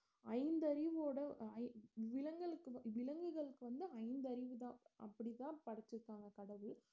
ஐந்தறிவோட ஐந்~ விலங்கள்க்கு வ~ விலங்குகள்க்கு வந்து ஐந்தறிவுதான் அப்டித்தான் படச்சருக்காங்க கடவுள்